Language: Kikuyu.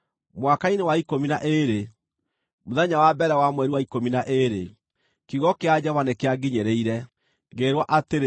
Mwaka-inĩ wa ikũmi na ĩĩrĩ, mũthenya wa mbere wa mweri wa ikũmi na ĩĩrĩ, kiugo kĩa Jehova nĩkĩanginyĩrĩire, ngĩĩrwo atĩrĩ: